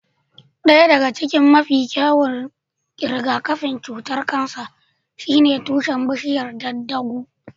Ɗaya daga cikin mafi kyawun rigakafin cutar kansa shine tushen bishiyar daddaaguu.